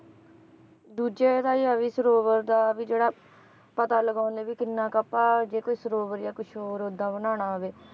ਦੂਜੇ ਇਹਦਾ ਹੀ ਆ ਵੀ ਸਰੋਵਰ ਦਾ ਵੀ ਜਿਹੜਾ ਪਤਾ ਲਗਾਉਂਦੇ ਵੀ ਕਿੰਨਾ ਕੁ ਆਪਾਂ ਜੇ ਕੋਈ ਸਰੋਵਰ ਜਾਂ ਕੁਛ ਹੋਰ ਓਦਾਂ ਬਣਾਉਣਾ ਹੋਵੇ,